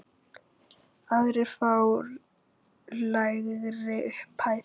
Aðrir fá lægri upphæð.